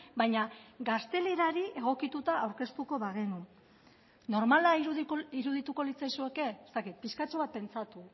baina gaztelerari egokituta aurkeztuko bagenu normala irudituko litzaizueke ez dakit pixkatxo bat pentsatu